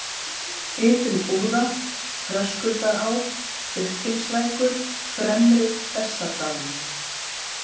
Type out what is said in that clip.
Ytri-Búða, Þröskuldará, Birtingslækur, Fremri-Bessadalur